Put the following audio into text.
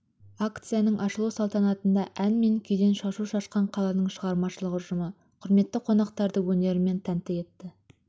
акцияның ашылу салтанатында ән мен күйден шашу шашқан қаланың шығармашылық ұжымы құрметті қонақтарды өнерімен тәнтті етті